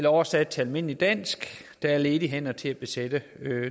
oversat til almindeligt dansk at der er ledige hænder til at besætte